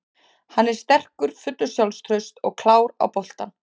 Hann er sterkur, fullur sjálfstrausts og klár á boltanum.